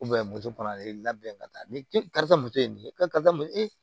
moto kɔnɔ a ye labɛn ka taa ni karisa muso ye karisa mun e